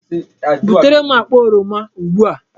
Butere m akpa oroma ugbu a!